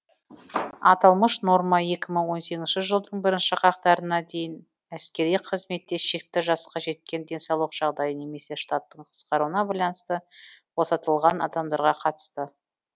аталмыш норма екі мың он сегізінші жылдың бірінші қаңтарына дейін әскери қызметте шекті жасқа жеткен денсаулық жағдайы немесе штаттың қысқаруына байланысты босатылған адамдарға қатысты